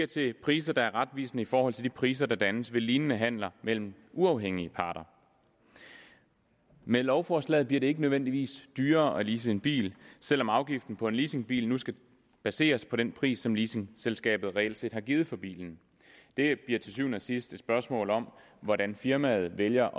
til priser der er retvisende i forhold til de priser der dannes ved lignende handler mellem uafhængige parter med lovforslaget bliver det ikke nødvendigvis dyrere at lease en bil selv om afgiften på en leasingbil nu skal baseres på den pris som leasingselskabet reelt har givet for bilen det bliver til syvende og sidst et spørgsmål om hvordan firmaet vælger